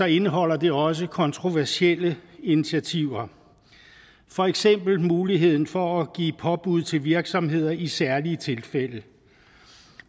indeholder det også kontroversielle initiativer for eksempel muligheden for at give påbud til virksomheder i særlige tilfælde